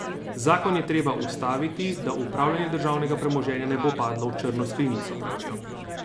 Zakon je treba ustaviti, da upravljanje državnega premoženja ne bo padlo v črno skrinjico, pravijo.